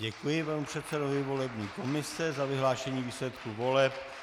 Děkuji panu předsedovi volební komise za vyhlášení výsledků voleb.